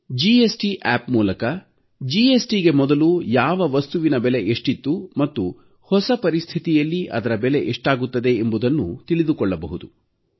GST app ಮೂಲಕ ಜಿಎಸ್ಟಿಗೆ ಮೊದಲು ಯಾವ ವಸ್ತುವಿನ ಬೆಲೆ ಎಷ್ಟಿತ್ತು ಮತ್ತು ಹೊಸ ಪರಿಸ್ಥಿತಿಯಲ್ಲಿ ಅದರ ಬೆಲೆ ಎಷ್ಟಾಗುತ್ತದೆ ಎಂಬುದನ್ನು ತಿಳಿದುಕೊಳ್ಳಬಹುದು